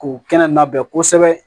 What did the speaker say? K'u kɛnɛ labɛn kosɛbɛ